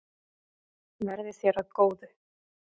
Verði þér að góðu.